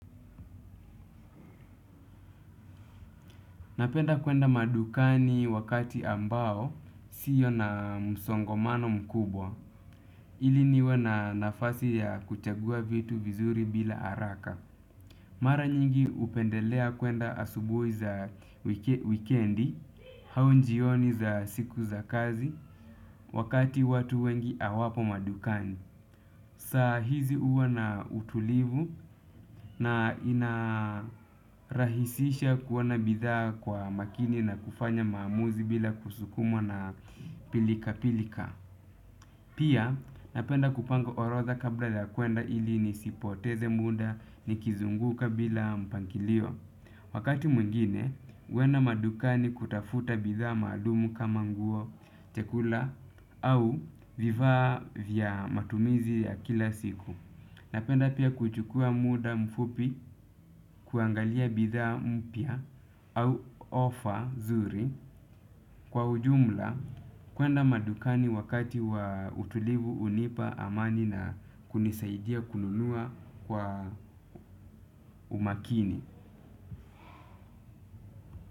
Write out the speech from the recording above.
Napenda kwenda madukani wakati ambao sio na msongomano mkubwa ili niwe na nafasi ya kuchagua vitu vizuri bila haraka. Mara nyingi hupendelea kwenda asubuhi za wikendi au jioni za siku za kazi wakati watu wengi hawapo madukani. Saa hizi huwa na utulivu na inarahisisha kuona bidhaa kwa makini na kufanya maamuzi bila kusukumwa na pilk pilka. Pia napenda kupanga orotha kabla ya kuenda ili nisipoteze muda nikizunguka bila mpangilio. Wakati mwingine, huenda madukani kutafuta bidhaa maadumu kama nguo, chakula au vifaa vya matumizi ya kila siku. Napenda pia kuchukua muda mfupi kuangalia bidhaa mpya au offer zuri kwa ujumla kuenda madukani wakati wa utulivu hunipa amani na kunisaidia kununua kwa umakini.